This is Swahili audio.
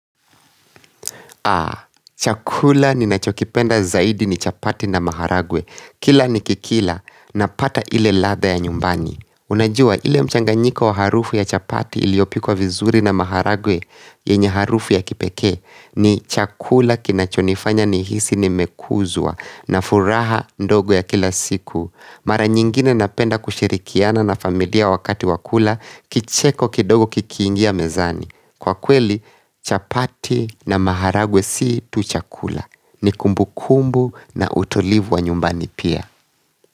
Chakula ninachokipenda zaidi ni chapati na maharagwe. Kila nikikila napata ile ladha ya nyumbani. Unajua ile mchanganyiko wa harufu ya chapati iliyopikwa vizuri na maharagwe yenye harufu ya kipekee ni chakula kinachonifanya nihisi nimeguzwa na furaha ndogo ya kila siku. Mara nyingine napenda kushirikiana na familia wakati wa kula kicheko kidogo kikiingia mezani. Kwa kweli chapati na maharagwe si tu chakula, ni kumbu kumbu na utulivu wa nyumbani pia.